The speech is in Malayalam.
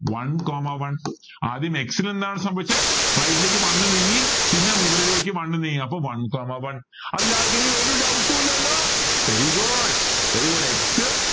one comma one ആദ്യം x ന് എന്താ സംഭവിച്ചെ right ലേക്ക് one നീങ്ങി പിന്നെ മുകളിലേക്ക് one നീങ്ങി അപ്പൊ one comma one അതിൽ ആർക്കെങ്കിലും ഒരു doubt ഉം ഇല്ലല്ലോ very good x